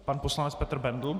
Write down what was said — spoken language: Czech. Pan poslanec Petr Bendl.